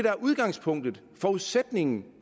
er udgangspunktet forudsætningen